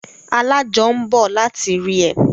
Alájọ ń bọ̀ láti rí ẹ